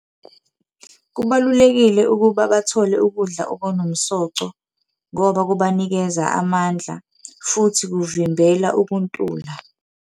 Kubalulekile ukuba bathole ukudla okunomsoco ngoba kubanikeza amandla, futhi kuvimbela ukuntula.